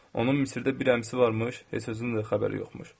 Onun Misirdə bir əmisi varmış, heç özünün də xəbəri yoxmuş.